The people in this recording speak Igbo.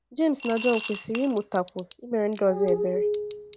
Jems na Jọn kwesịrị ịmụtakwu imere ndị ọzọ ebere.